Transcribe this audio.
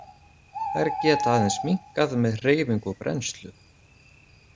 Þær geta aðeins minnkað með hreyfingu og brennslu.